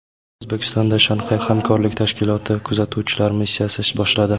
O‘zbekistonda Shanxay hamkorlik tashkiloti kuzatuvchilar missiyasi ish boshladi.